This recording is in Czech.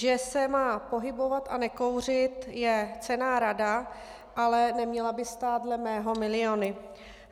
Že se má pohybovat a nekouřit, je cenná rada, ale neměla by stát dle mého miliony.